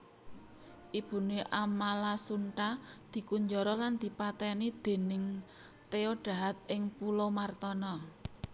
Ibuné Amalasuntha dikunjara lan dipatèni dèning Theodahad ing pulau Martana